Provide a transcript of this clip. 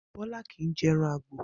Bó̩lá kì í je̩ e̩ran àgbò